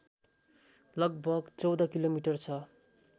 लगभग १४ किलोमिटर छ